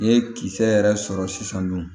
N'i ye kisɛ yɛrɛ sɔrɔ sisan nɔ